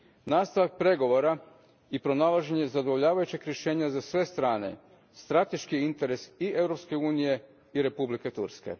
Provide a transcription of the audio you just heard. Nastavak pregovora i pronalaženje zadovoljavajućeg rješenja za sve strane, strateški je interes i Europske unije i Republike Turske.